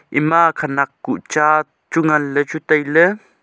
ima khenek cha chu ngan le chu tailey.